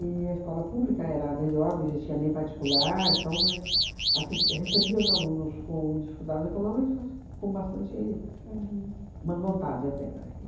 a escola pública era a melhor, não existia nem particular, então, mas assis recebia os alunos com dificuldades econômicas com bastante, má vontade até, né, e